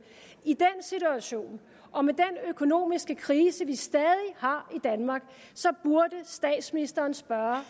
i den situation og med den økonomiske krise vi stadig har i danmark burde statsministeren spørge